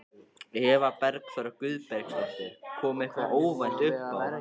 Eva Bergþóra Guðbergsdóttir: Kom eitthvað óvænt uppá?